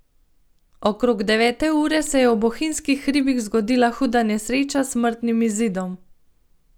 Okrog devete ure se je v bohinjskih hribih zgodila huda nesreča s smrtnim izidom.